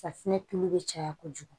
Safinɛ tulu bɛ caya kojugu